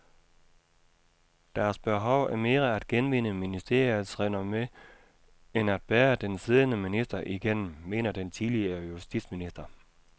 Deres behov er mere at genvinde ministeriets renommé end at bære den siddende minister igennem, mener den tidligere justitsminister.